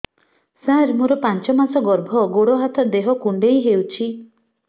ସାର ମୋର ପାଞ୍ଚ ମାସ ଗର୍ଭ ଗୋଡ ହାତ ଦେହ କୁଣ୍ଡେଇ ହେଉଛି